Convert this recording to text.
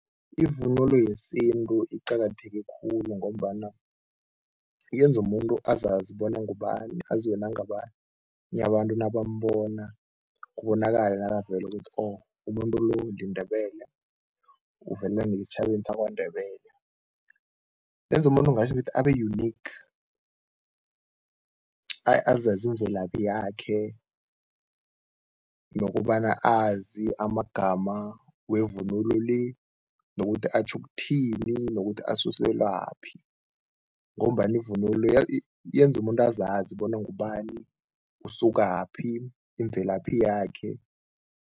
Ivunulo yesintu iqakatheke khulu ngombana yenza umuntu azazi bona ngubani, aziwe nangabanye abantu nabambona, kubonakale nakavela ukuthi oh umuntu lo liNdebele, uvela ngesitjhabeni saKwaNdebele. Yenza umuntu nginatjho ngithi abe-unique azazi imvelaphi yakhe nokobana azi amagama wevunulo le nokuthi atjho ukuthini, nokuthi asuselwaphi ngombana ivunulo yenza umuntu azazi bona ngubani, usukaphi, imvelaphi yakhe.